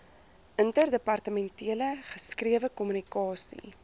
interdepartementele geskrewe kommunikasie